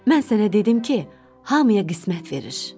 Mən sənə dedim ki, hamıya qismət verir.